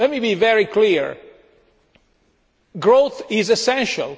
Let me be very clear growth is essential.